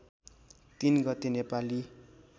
३ गते नेपाली